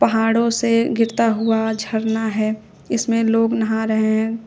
पहाड़ों से गिरता हुआ झरना है इसमें लोग नहा रहे हैं।